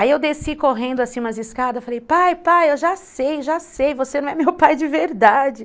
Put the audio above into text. Aí eu desci correndo assim umas escadas, falei, pai, pai, eu já sei, já sei, você não é meu pai de verdade.